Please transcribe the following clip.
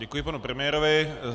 Děkuji panu premiérovi.